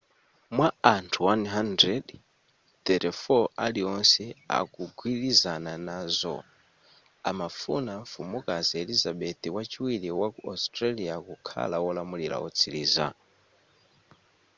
mwa anthu 100,34 aliwonse akugwilizana nazo amafuna mfumukazi elizabeth wachiwiri waku australia kukhala wolamula wotsiliza